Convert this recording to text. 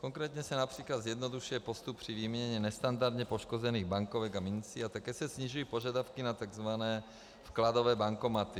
Konkrétně se například zjednodušuje postup při výměně nestandardně poškozených bankovek a mincí a také se snižují požadavky na tzv. vkladové bankomaty.